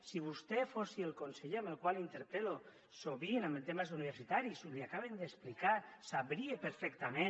si vostè fos el conseller que interpel·lo sovint en temes universitaris l’hi acaben d’explicar sabria perfectament